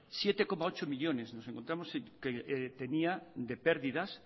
siete coma ocho millónes nos encontramos que tenía de perdidas